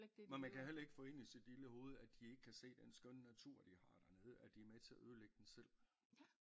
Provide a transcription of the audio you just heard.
Men kan jo heller ikke få ind i sit lille hoved at de ikke kan se den skønne natur de har der nede at de er med til at ødelægge den selv